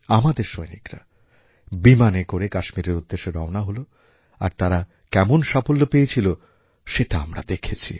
আমাদের সৈনিকরা বিমানে করে কাশ্মীরের উদ্দেশ্যে রওয়ানা হয় আর তারা কেমন সাফল্য পেয়েছিল সেটা আমরা দেখেছি